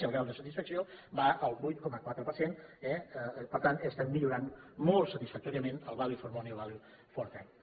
i el grau de satisfacció va al vuit coma quatre per cent eh per tant estem millorant molt satisfactòriament el value for money i el value for time